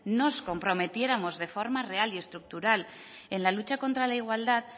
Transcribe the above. nos comprometiéramos de forma real y estructural en la lucha contra la igualdad